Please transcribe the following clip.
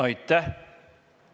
Aitäh!